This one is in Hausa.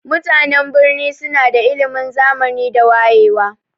Mutanan birni suna da ilimin zamani da wayewa.